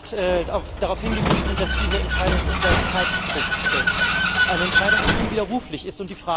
Herr Balz hat darauf hingewiesen, dass diese Entscheidung unter Zeitdruck fällt eine Entscheidung, die unwiderruflich ist.